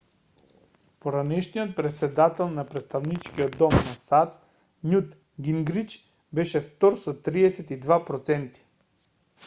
поранешниот претседател на претставничкиот дом на сад њут гингрич беше втор со 32 проценти